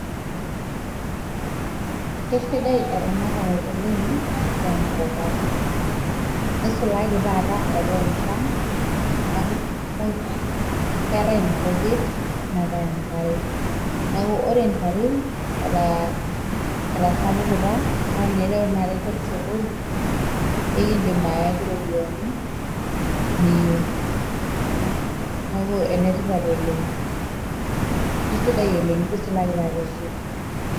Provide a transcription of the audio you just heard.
Kesidae eramatare oleng',tenkop ang'. Nisulaki taata eetae enchan, neeku keetae inkujit, neetae enkare. Neeku ore ntare, etasapukita, na enireu tanakata enker osokoni, ekidim ayaki ropiyaiani, niyieu. Neeku enetipat oleng'. Kisidai oleng' nisulaki taata eshaita.